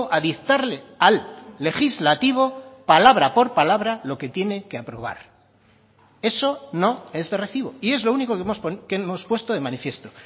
a dictarle al legislativo palabra por palabra lo que tiene que aprobar eso no es de recibo y es lo único que hemos puesto de manifiesto